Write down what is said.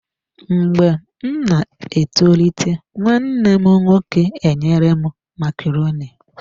Mgbe m na-etolite, nwanne m nwoke enyere m macaroni.